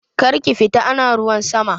Karki fita ana ruwan sama!